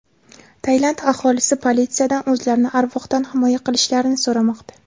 Tailand aholisi politsiyadan o‘zlarini arvohdan himoya qilishlarini so‘ramoqda.